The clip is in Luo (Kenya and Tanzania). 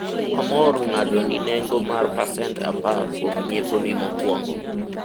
wamor mng'ado ni nengo mar pacent apar kuom nyieponi mokwongo